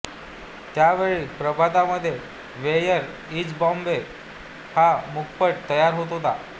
त्यावेळी प्रभातमध्ये where is Bombay हा मूकपट तयार होत होता